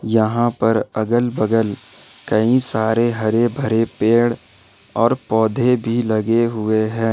यहां पर अगल बगल कई सारे हरे भरे पेड़ और पौधे भी लगे हुए हैं।